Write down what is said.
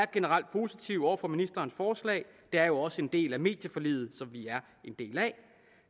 generelt positive over for ministerens forslag det er jo også en del af medieforliget